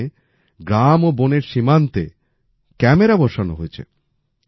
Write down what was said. সেখানে গ্রাম ও বনের সীমান্তে ক্যামেরা বসানো হয়েছে